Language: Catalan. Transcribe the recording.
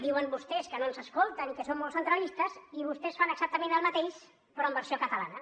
diuen vostès que no ens escolten i que són molt centralistes i vostès fan exactament el mateix però en versió catalana